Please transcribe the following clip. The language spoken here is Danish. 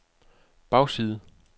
bagside